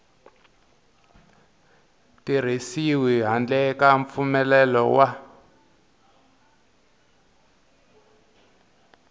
tirhisiwi handle ka mpfumelelo wa